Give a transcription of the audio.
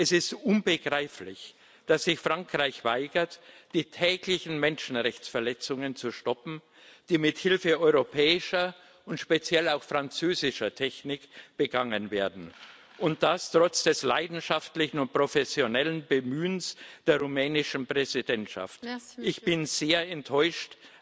Es ist unbegreiflich, dass sich Frankreich weigert, die täglichen Menschenrechtsverletzungen zu stoppen, die mit Hilfe europäischer und speziell auch französischer Technik begangen werden, und das trotz des leidenschaftlichen und professionellen Bemühens der rumänischen Präsidentschaft. Ich bin sehr enttäuscht.